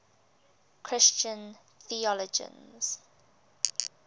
christian theologians